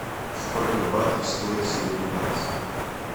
сколько батов стоит сегодня бакс